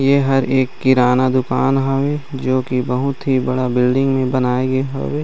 ऐ हर एक किराना दुकान हवे जो की बहुत ही बड़ा बिल्डिंग में बनाऐ गए हवे।